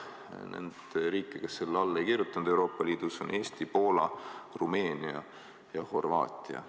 Euroopa Liidu riigid, kes sellele alla ei kirjutanud, on Eesti, Poola, Rumeenia ja Horvaatia.